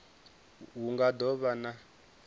hu nga do vha na